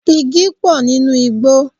Igi pò nínú igbó.